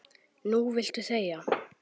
Núna viltu þegja.